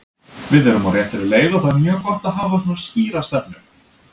Við erum á réttri leið og það er mjög gott að hafa svona skýra stefnu.